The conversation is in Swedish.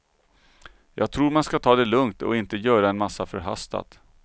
Jag tror man ska ta det lugnt och inte göra en massa förhastat.